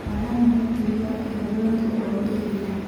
Panama naitayu eoret o ntoiwuo.